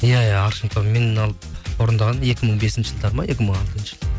иә иә аршын тобы меннен алып орындаған екі мың бесінші жылдары ма екі мың алтыншы